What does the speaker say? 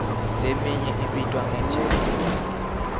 leminye ibitwa nge jezi